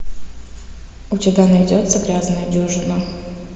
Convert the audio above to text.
у тебя найдется грязная дюжина